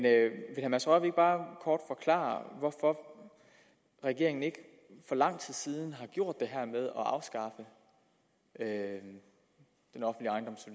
herre mads rørvig ikke bare kort forklare hvorfor regeringen ikke for lang tid siden har gjort det her med